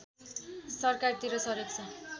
सरकारतिर सरेको छ